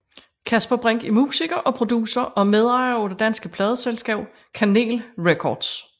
Kasper Brinck er musiker og producer og medejer af det danske pladeselskab Kanel Records